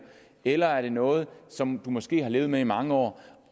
eller er noget som måske har levet med i mange år